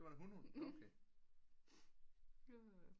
Det var en hun hund nå okay